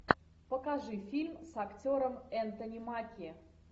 покажи фильм с актером энтони маки